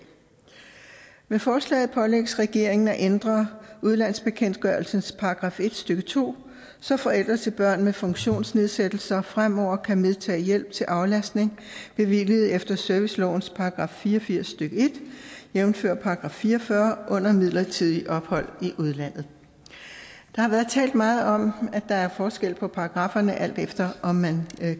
med forslaget pålægges regeringen at ændre udlandsbekendtgørelsens § en stykke to så forældre til børn med funktionsnedsættelser fremover kan medtage hjælp til aflastning bevilliget efter servicelovens § fire og firs stykke en jævnfør § fire og fyrre under midlertidige ophold i udlandet der har været talt meget om at der er forskel på paragrafferne alt efter om man